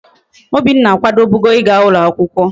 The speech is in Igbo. Obinna akwadobugo íga ulo akwukwo